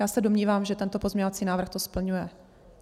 - Já se domnívám, že tento pozměňovací návrh to splňuje.